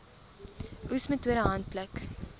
oes metode handpluk